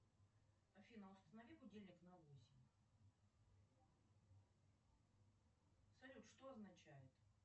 афина установи будильник на восемь салют что означает